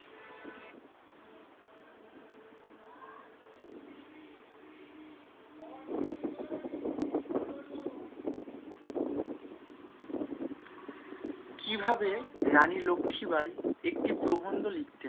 কিভাবে রানী লক্ষীবাঈ একটি প্রবন্ধ লিখতেন?